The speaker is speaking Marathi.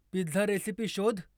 पिझ्झा रेसिपी शोध